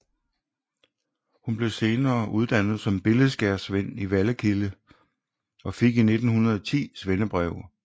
Hun blev senere uddannet som billedskærersvend i Vallekilde og fik i 1910 svendebrev